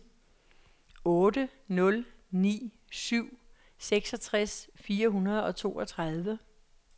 otte nul ni syv seksogtres fire hundrede og toogtredive